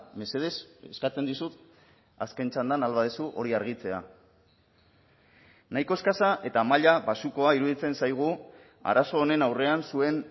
mesedez eskatzen dizut azken txandan ahal baduzu hori argitzea nahiko eskasa eta maila baxukoa iruditzen zaigu arazo honen aurrean zuen